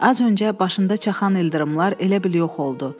Az öncə başında çaxan ildırımlar elə bil yox oldu.